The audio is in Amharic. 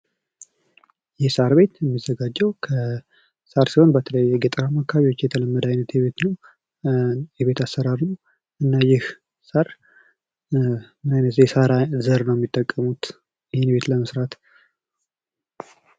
የሳር ቤት የሚዘጋጀው ከሳር ሲሆን በተለይ በገጠራማ አካባቢዎች የተለመደ አይነት የቤት አሰራር ነው። እና ይሄ ሣር ምን አይነት የሳር ዘር ነው ሚጠቀሙት ይህን ቤት ለመስራት?